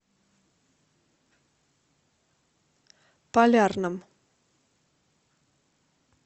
полярном